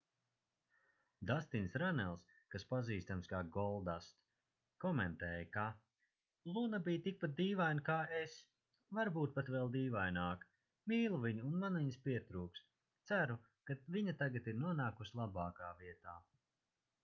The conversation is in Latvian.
dastins rannels kas pazīstams kā goldust komentēja ka luna bija tikpat dīvaina kā es...varbūt pat vēl dīvaināka...mīlu viņu un man viņas pietrūks...ceru ka viņa tagad ir nonākusi labākā vietā.